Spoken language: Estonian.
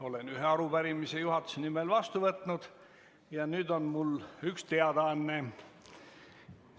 Olen ühe arupärimise juhatuse nimel vastu võtnud ja nüüd on mul üks teadaanne.